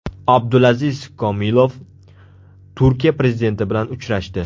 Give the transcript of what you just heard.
Abdulaziz Komilov Turkiya prezidenti bilan uchrashdi.